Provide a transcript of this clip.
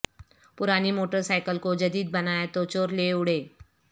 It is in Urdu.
پرانی موٹرسائیکل کو جدید بنایا تو چور لے اڑے